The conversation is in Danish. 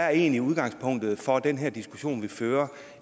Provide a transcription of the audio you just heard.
er egentlig udgangspunktet for den her diskussion vi fører